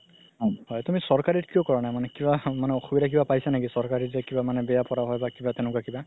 তুমি চৰকাৰিত কিয় কৰা নাই মানে কিবা মানে কিবা অসুবিধা মানে পাইছা নেকি চকাৰিত যে কিবা মানে বেয়া পঢ়োৱা হয় বা কিবা তেনেকুৱা কিবা